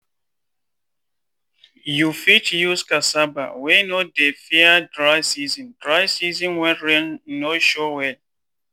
i plant maize wey dey mature mature quick make i fit beat the way rain dey shift this year.